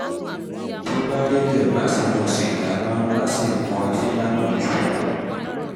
tó bá rí bẹ́ẹ̀ má ṣe mu sìgá mọ́ má sì mu ọtí lámujù